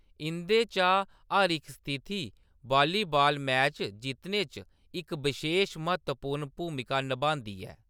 इंʼदे चा हर इक स्थिति वॉलीबॉल मैच जित्तने च इक बशेश, म्हत्तवपूर्ण भूमका नभांदी ऐ।